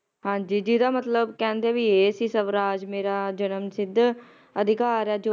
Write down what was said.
ਹਾਂਜੀ ਜੀਹਦਾ ਮਤਲਬ ਕਹਿੰਦੇ ਵੀ ਇਹ ਸੀ ਵੀ ਸਵਰਾਜ ਮੇਰਾ ਜੰਮਸਿੱਧ ਅਧਿਕਾਰ ਹੈ l